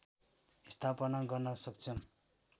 स्थापना गर्न सक्षम